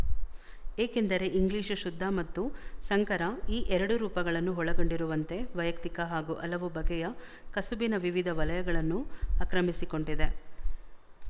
ಏಕೆಂದರೆ ಇಂಗ್ಲಿಶು ಶುದ್ಧ ಮತ್ತು ಸಂಕರ ಈ ಎರಡೂ ರೂಪಗಳನ್ನು ಒಳಗೊಂಡಿರುವಂತೆ ವೈಯಕ್ತಿಕ ಹಾಗೂ ಹಲವು ಬಗೆಯ ಕಸುಬಿನ ವಿವಿಧ ವಲಯಗಳನ್ನೂ ಆಕ್ರಮಿಸಿಕೊಂಡಿದೆ